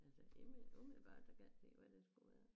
Altså lige med umiddelbart så kan jeg ikke se hvad det skulle være